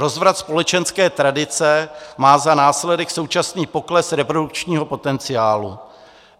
Rozvrat společenské tradice má za následek současný pokles reprodukčního potenciálu.